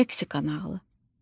Meksika nağılı.